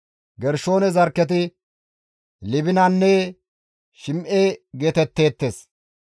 Gershoone zarkketi Libinanne Shim7e geetetteettes.